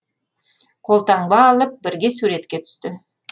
қолтаңба алып бірге суретке түсті